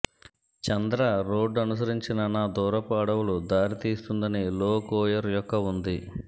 చంద్ర road అనుసరించిన నా దూరపు అడవులు దారితీస్తుందని లో కోయిర్ యొక్క ఉంది